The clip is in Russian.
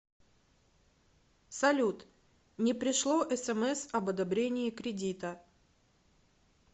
салют не пришло смс об одобрении кредита